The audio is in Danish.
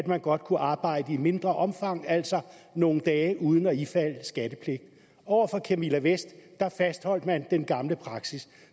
man godt arbejde i et mindre omfang altså nogle dage uden at ifalde skattepligt over for camilla vest fastholdt man den gamle praksis